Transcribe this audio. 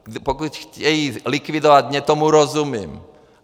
Pokud chtějí likvidovat mě, tomu rozumím.